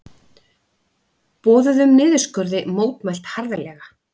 Boðuðum niðurskurði mótmælt harðlega